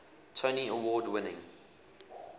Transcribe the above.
tony award winning